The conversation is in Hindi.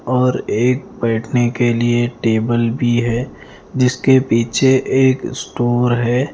और एक बैठने के लिए टेबल भी है जिसके पीछे एक स्टोर है।